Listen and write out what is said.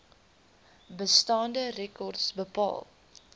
bestaande rekords bepaal